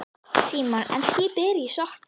Símon: En skipið er ekki sokkið?